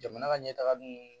Jamana ka ɲɛtaga don